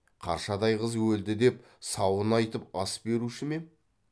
қаршадай қыз өлді деп сауын айтып ас беруші ме ем